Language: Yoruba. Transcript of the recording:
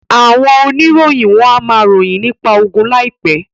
Àwọn oníròyìn wọ́n á ma ròyìn nípa ogun láìpẹ́